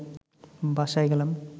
বাসায় গেলাম